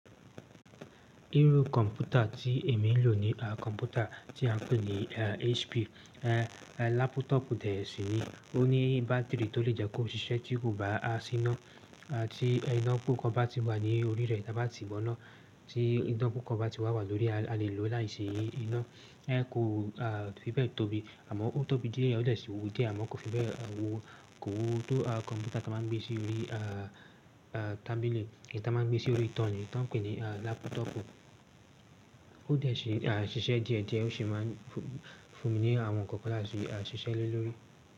Irú kọ̀m̀pútà tí èmi ń lò ní kọ̀m̀pútà tí a ń pè ní HP. Laptop dè sí ni, ó ní bátìrì tó lè jẹ́ kó ṣiṣẹ́ tí kò bá síná. Tí iná pùpo bá ti wà ní orí rẹ̀ tá bá ti gbọná, tí iná pùpo bá ti wà wà lórí, a lè lò láìsí iná. Kò fi bẹ́ẹ̀ tóbi àmọ́ ó tóbi díẹ̀ o dẹ̀ sí wu díẹ̀ àmọ́ kò fi bẹ́ẹ̀ wo. Kò wú wò tó awon kọ̀m̀pútà tí wọ́n máa ń gbé sí orí tábìlì kí n ta máa gbé sí orí itan ni tí wọ́n ń pè ní laptop. Ó dè sí ṣiṣẹ́ díẹ̀ díẹ̀ ó sì máa ń fúnni ní àwọn ǹkan láti ṣiṣẹ́ lórí.